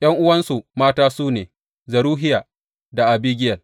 ’Yan’uwansu mata su ne Zeruhiya da Abigiyel.